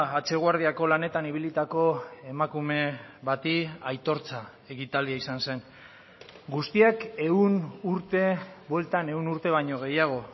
hatxe guardiako lanetan ibilitako emakume bati aitortza ekitaldia izan zen guztiak ehun urte bueltan ehun urte baino gehiago